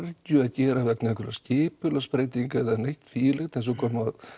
kergju að gera vegna einhver skipulagsbreyting er eða neitt því um líkt eins og kom